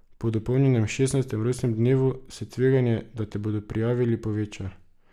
Po dopolnjenem šestnajstem rojstnem dnevu se tveganje, da te bodo prijavili, poveča.